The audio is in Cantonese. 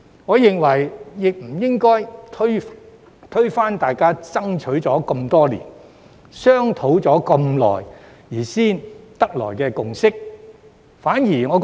我認為，議員不應該推翻大家爭取多年、商討已久才達成的共識。